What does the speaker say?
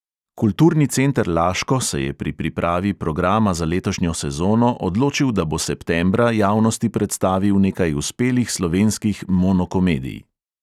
Kulturni center laško se je pri pripravi programa za letošnjo sezono odločil, da bo septembra javnosti predstavil nekaj uspelih slovenskih monokomedij.